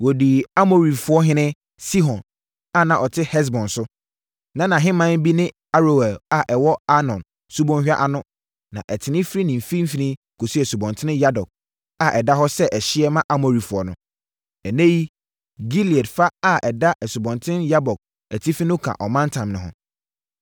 Wɔdii Amorifoɔhene Sihon a na ɔte Hesbon so. Na nʼahemman bi ne Aroer a ɛwɔ Arnon Subɔnhwa ano na ɛtene firi ne mfimfini kɔsi Asubɔnten Yabok a ɛda hɔ sɛ ɛhyeɛ ma Amorifoɔ no. Ɛnnɛ yi, Gilead fa a ɛda Asubɔnten Yabok atifi no ka ɔmantam no ho.